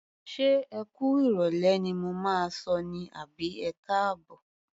Ṣé ẹ kú ìrọ̀lẹ́ ni mo máa sọ ní àbí ẹkáàbọ̀?